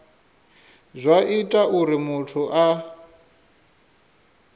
zwa ita uri muthu a